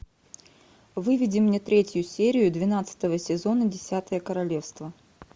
выведи мне третью серию двенадцатого сезона десятое королевство